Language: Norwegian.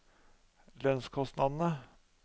lønnskostnadene